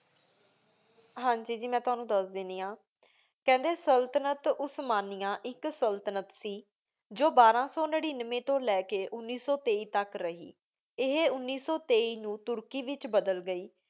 ਹਾਂਜੀ ਜੀ ਜੀ ਮੈਂ ਤ੍ਵਾਨੁ ਦਸ ਦੇਂਦੀ ਆਂ ਕੇਹੰਡੀ ਸਲ੍ਤਨਤ ਓਸ੍ਮਾਨਿਆ ਇਕ ਸਲ੍ਤਨਤ ਸੀ ਜੋ ਬਾਰਾ ਸੋ ਨੇਰੇਨ੍ਵ੍ਯ ਤੂ ਲੈ ਕੀ ਉਨੀ ਸੋ ਤੇਈ ਤਕ ਗਏ ਰਹੀ ਏਹੀ ਉਨੀ ਸੋ ਤੇਈ ਨੂ ਤੁਰਕੀ ਵਿਚ ਬਦਲ ਗਈ ।